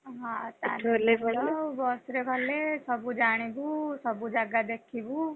ଓହୋ ଆଉ ତାହେଲେ ବସ ରେ ଗଲେ ସବୁ ଜାଣିବୁ ସବୁ ଜାଗା ଦେଖିବୁ।